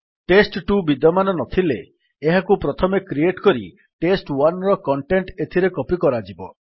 test two ବିଦ୍ୟମାନ ନଥିଲେ ଏହାକୁ ପ୍ରଥମେ କ୍ରିଏଟ୍ କରି ଟେଷ୍ଟ1 ର କଣ୍ଟେଣ୍ଟ୍ ଏଥିରେ କପୀ କରାଯିବ